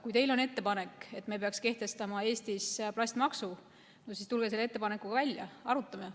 Kui teil on ettepanek, et me peaks kehtestama Eestis plastimaksu, siis tulge selle ettepanekuga välja, arutame.